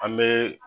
An bɛ